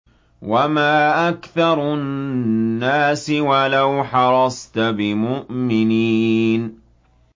وَمَا أَكْثَرُ النَّاسِ وَلَوْ حَرَصْتَ بِمُؤْمِنِينَ